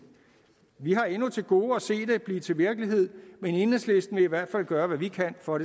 vi har endnu til gode at se det blive til virkelighed men enhedslisten vil i hvert fald gøre hvad vi kan for